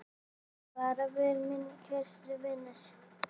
Far vel, minn kæri vinur.